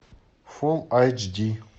фулл айч ди